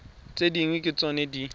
tse dingwe ke tsona di